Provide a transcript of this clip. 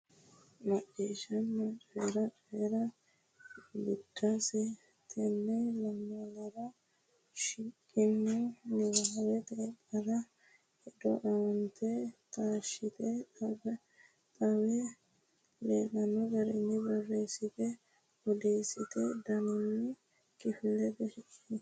Macciishshanna Coyi’ra: Coyi’ra Biddissa Tenne lamalara shiqqino niwaaweta qara hedo aante taashshite, xawe leellanno garinni borreessite, odoote daninni kifilete shiqishi.